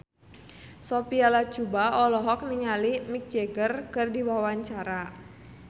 Sophia Latjuba olohok ningali Mick Jagger keur diwawancara